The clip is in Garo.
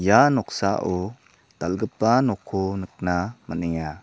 ia noksao dal·gipa nokko nikna man·enga.